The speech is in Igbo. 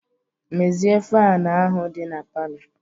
Mezie faanụ ahụ dị na palọ!